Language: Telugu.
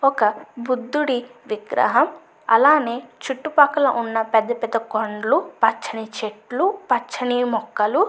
ఒక బుద్ధుడి విగ్రహం అలానే చుట్టుపక్కన ఉన్నపెద్ద పెద్ద కొండలు పచ్చని చెట్లు పచ్చని మొక్కలు --